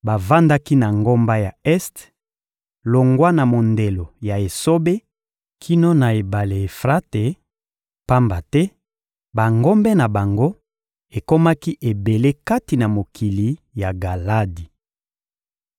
Bavandaki na ngambo ya este, longwa na mondelo ya esobe kino na ebale Efrate, pamba te bangombe na bango ekomaki ebele kati na mokili ya Galadi.